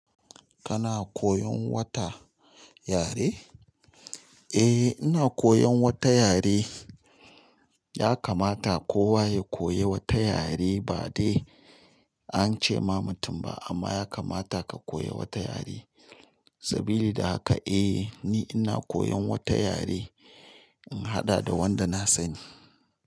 Kana koyon wata yare? Eh ina koyan wata yare. Ya kamata kowa ya koyi wata yare ba dai ance ma mutum ba amma ya kamata ka koyi wata yare. Sabili da haka eh ni ina koyan wata yare, in haɗa da wanda na sani.